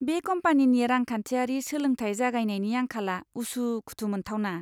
बे कम्पानिनि रांखान्थियारि सोलोंथाय जागायनायनि आंखाला उसु खुथु मोनथावना!